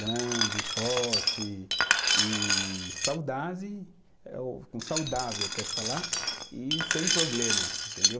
grande, forte e saudade, eh o, saudável eu quero falar, e sem problemas, entendeu?